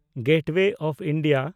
gateway of India